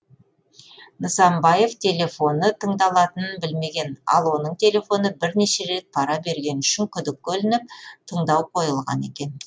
нысанбаев телефоны тыңдалатынын білмеген ал оның телефоны бірнеше рет пара бергені үшін күдікке ілініп тыңдау қойылған екен